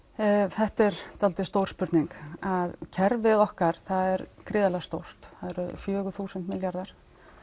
þetta er svolítið stór spurning kerfið okkar er gríðarlega stórt það eru fjögur þúsund milljarðar